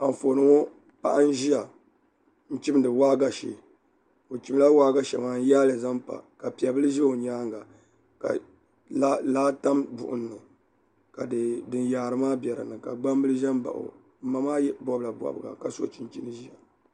Anfooni ŋo paɣa n ʒiya n chimdi waagashe o chimla waagashe maa n yaali zaŋ pa ka piɛ bili ʒɛ o nyaanga ka laa tam buɣum ni ka din yaari maa bɛ dinni ka gbambili ʒɛ n baɣa o n ma maa bobla bobga ka so chinchin ʒiɛ